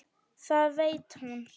Það veit hún.